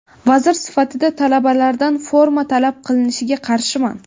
Vazir sifatida talabalardan forma talab qilinishiga qarshiman.